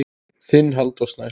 Þinn Halldór Snær.